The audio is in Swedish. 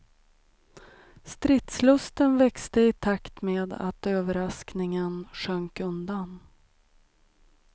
Stridslusten växte i takt med att överraskningen sjönk undan.